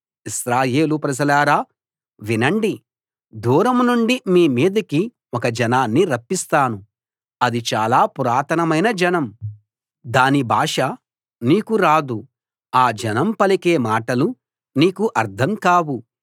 ఇశ్రాయేలు ప్రజలారా వినండి దూరం నుండి మీ మీదికి ఒక జనాన్ని రప్పిస్తాను అది చాలా పురాతనమైన జనం దాని భాష నీకు రాదు ఆ జనం పలికే మాటలు నీకు అర్థం కావు